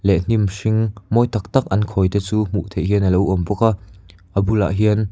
leh hnim hring mawi tak tak an khawi te chu hmuh theih hian a lo awm bawk a a bulah hian--